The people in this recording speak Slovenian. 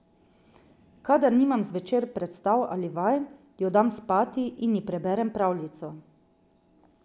Kadar nimam zvečer predstav ali vaj, jo dam spati in ji preberem pravljico.